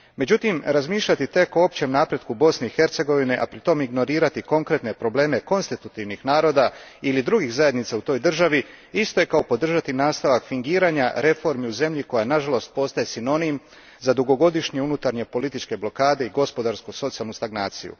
Međutim, razmišljati tek o općem napretku Bosne i Hercegovine, a pritom ignorirati konkretne probleme konstitutivnih naroda ili drugih zajednica u toj državi isto je kao podržati nastavak fingiranja reformi u zemlji koja nažalost postaje sinonim za dugogodišnje unutarnje političke blokade i gospodarsku socijalnu stagnaciju.